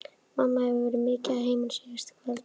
Mamma hefur verið mikið að heiman síðustu kvöld.